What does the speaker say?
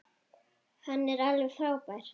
Hann er alveg frábær.